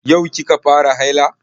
Yau ki ka fara haila?